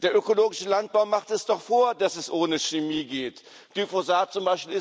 Der ökologische Landbau macht es doch vor, dass es ohne Chemie geht. Glyphosat